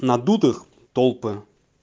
надутых толпы